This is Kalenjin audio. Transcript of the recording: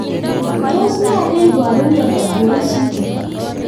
Tos nee neiparu miondop Duane syndrome